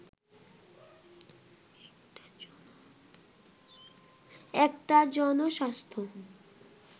একটা জনস্বাস্থ্য